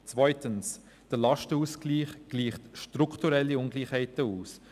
Zweitens: Der Lastenausgleich gleicht strukturelle Ungleichheiten aus.